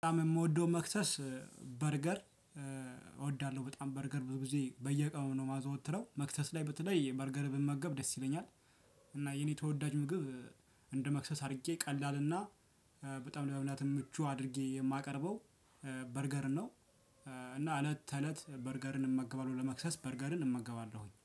በጣም የምወደው መክሰስ በርገር እወዳለሁ በጣም በርገር ብዙ ጊዜ በየቀኑ ነው የማዘወትረው መክሰስ ላይ በተለይ በርገር ብመገብ ደስ ይለኛል። እና የኔ ተወዳጁን ምግብ እንደ መክሰስ አድርጌ ቀላልና በጣም ለመብላት ምቹ አድርጌ የማቀርበው በርገርን ነው። እና እለት ተእለት በርገርንም እመግባለሁ ለመክሰስ በርገርን እመገባለሁኝ